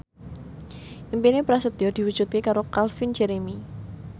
impine Prasetyo diwujudke karo Calvin Jeremy